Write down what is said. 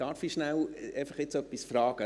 Darf ich kurz etwas fragen?